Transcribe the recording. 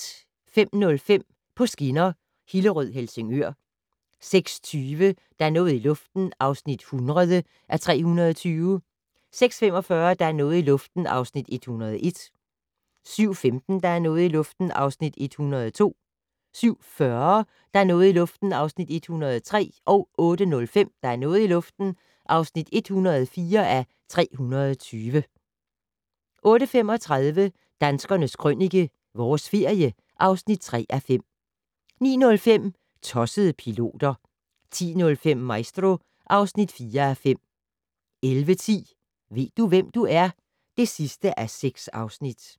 05:05: På skinner: Hillerød-Helsingør 06:20: Der er noget i luften (100:320) 06:45: Der er noget i luften (101:320) 07:15: Der er noget i luften (102:320) 07:40: Der er noget i luften (103:320) 08:05: Der er noget i luften (104:320) 08:35: Danskernes Krønike - Vores ferie (3:5) 09:05: Tossede piloter 10:05: Maestro (4:5) 11:10: Ved du, hvem du er? (6:6)